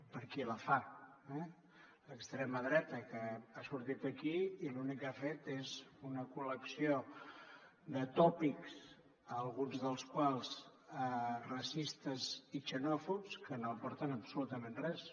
per qui la fa eh l’extrema dreta que ha sortit aquí i l’únic que ha fet és una col·lecció de tòpics alguns dels quals racistes i xenòfobs que no aporten absolutament res